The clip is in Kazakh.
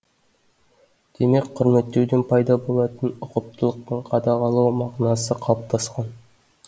демек құрметтеуден пайда болатын ұқыптылық пен қадағалау мағынасы қалыптасқан